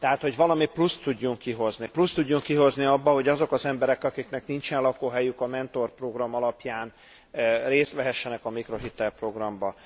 Tehát, hogy valami pluszt tudjunk kihozni, pluszt tudjunk kihozni abból, hogy azok az emberek, akiknek nincsen lakóhelyük, a mentorprogram alapján részt vehessenek a mikrohitel programban.